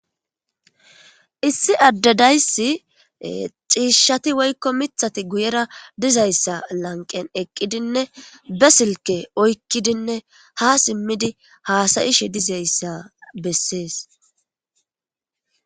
Issi addadayssi xiishshati woykko mithati guyera dizayssa lanqen eqqidinne be silke oykkidinne ha simmidi haasayishe dizayssa bessees.